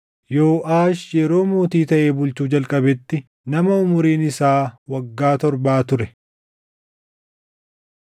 Yooʼaash yeroo mootii taʼee bulchuu jalqabetti nama umuriin isaa waggaa torbaa ture.